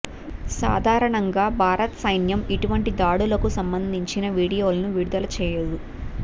సాధారణంగా భారత సైన్యం ఇటువంటి దాడులకు సంబంధించిన వీడియోలను విడుదల చేయదు